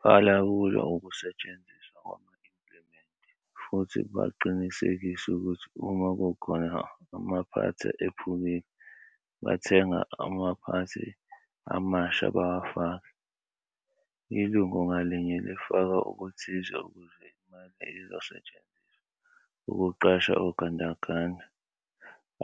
Balawula ukusetshenziswa kwama-implimenti futhi baqinisekise ukuthi uma kukhona amaphathi ephukile, bathenge amaphathi amasha bawafake. Ilungu ngalinye lifaka okuthize ukuze imali izosetshenziswa ukuqasha ogandaganda